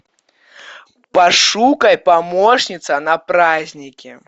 пошукай помощница на праздники